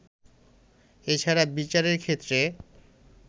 এছাড়া বিচারের ক্ষেত্রে